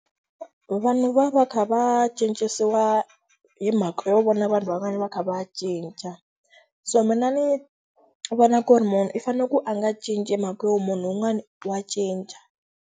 Vanhu va va kha va cincisiwa hi mhaka yo vona vanhu van'wana va kha va cinca. So mina ni vona ku ri munhu i fanele ku a nga cinci mhaka yo munhu wun'wani wa cinca.